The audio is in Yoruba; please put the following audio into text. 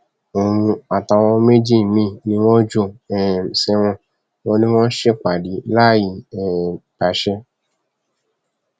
òun àtàwọn méjì míín ni wọn jù um sẹwọn wọn ni wọn ń ṣèpàdé láì um gbàṣẹ